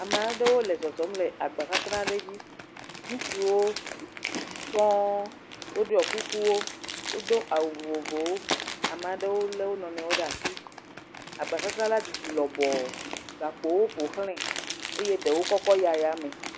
Amaɖewo le zɔzɔm le agba sasra ɖe dzi, ŋutsuwo sɔ̃, wo ɖiɔ kukuwo, wo do awu vovovowo, ama ɖewo lé wo nɔnɔewo ɖe asi, agba sasra la didi lɔbɔ, gakpowo ƒoxlē eye ɖewo kɔkɔ yi ayame.